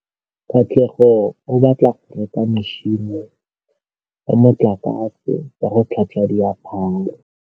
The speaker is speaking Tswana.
Katlego o batla go reka motšhine wa motlakase wa go tlhatswa diaparo.